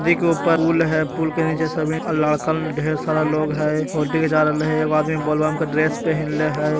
देखो ऊपर पूल है पूल के नीचे सभी अ लड़कन ढेर सारा लोग है फोटो घीचा रहलइ हे | एगो आदमी बोल बम के ड्रेस पेहेनले हई |